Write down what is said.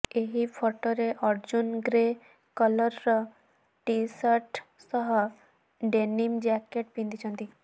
ଏହି ଫଟୋରେ ଅର୍ଜ୍ଜୁନ ଗ୍ରେ କଲରର ଟି ଶର୍ଟ ସହ ଡେନିମ୍ ଜ୍ୟାକେଟ୍ ପିନ୍ଧିଛନ୍ତି